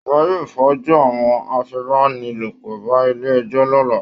Wọ́n yóò fojú àwọn afipábánilòpọ̀ ba ilé ẹjọ́ lọ́la